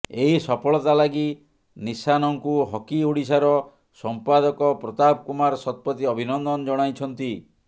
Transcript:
ଏହି ସଫଳତା ଲାଗି ନିଶାନଙ୍କୁ ହକି ଓଡ଼ିଶାର ସଂପାଦକ ପ୍ରତାପ କୁମାର ଶତପଥୀ ଅଭିନନ୍ଦନ ଜଣାଇଛନ୍ତି